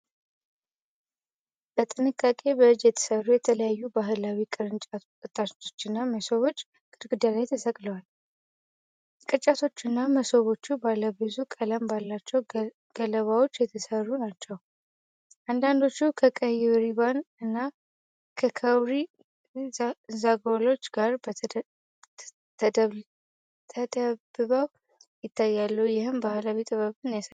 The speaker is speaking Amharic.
በጥንቃቄ በእጅ የተሰሩ የተለያዩ ባህላዊ ቅርጫቶችና መሶቦች ግድግዳ ላይ ተሰቅለዋል። ቅርጫቶቹና መሶቦቹ ባለ ብዙ ቀለም ባላቸው ገለባዎች የተጠመሩ ናቸው። አንዳንዶቹ ከቀይ ሪባን እና ከካውሪ ዛጎሎች ጋር ተደብበው ይታያሉ ይህም ባህላዊ ጥበብን ያሳያል።